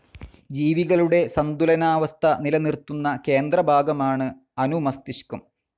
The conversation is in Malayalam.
ജീവികളുടെ സന്തുലനാവസ്ഥ നിലനിർത്തുന്ന കേന്ദ്രഭാഗമാണ് അനുമസ്തിഷ്കം.